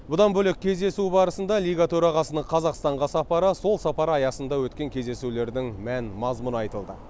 бұдан бөлек кездесу барысында лига төрағасының қазақстанға сапары сол сапар аясында өткен кездесулердің мән мазмұны айтылды